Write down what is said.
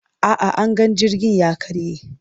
A'a, anga jirgin ya karye.